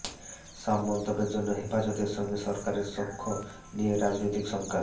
সব মন্তব্যের জন্য হেফাজতের সঙ্গে সরকারের সখ্য নিয়ে রাজনৈতিক শঙ্কা